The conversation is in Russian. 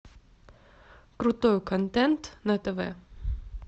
крутой контент на тв